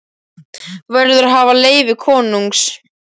Þú verður að hafa leyfi konungs.